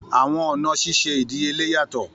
Àwọn ọna ṣiṣe idiyele yatọ.